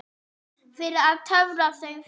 Fyrir að töfra þau fram.